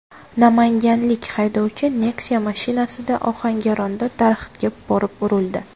Namanganlik haydovchi Nexia mashinasida Ohangaronda daraxtga borib urildi.